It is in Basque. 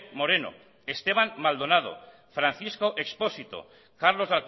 moreno esteban maldonado francisco expósito carlos